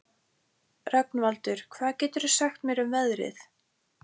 Rögnvaldur, hvað geturðu sagt mér um veðrið?